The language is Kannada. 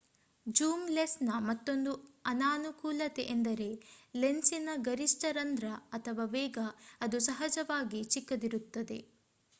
ಜೂಮ್ ಲೆನ್ಸ್ ನ ಮತ್ತೊಂದು ಅನಾನುಕೂಲತೆ ಎಂದರೆ ಲೆನ್ಸಿನ ಗರಿಷ್ಟ ರಂದ್ರ ವೇಗ ಅದು ಸಹಜವಾಗಿ ಚಿಕ್ಕದಿರುತ್ತದೆ